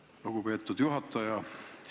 Aitäh, lugupeetud juhataja!